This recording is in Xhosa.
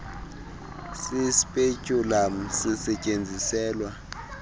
si speculum sisestyenziselwa